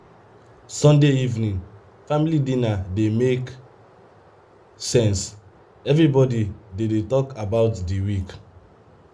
sunday evening family dinner dey make sense; everybody dey dey talk about the week.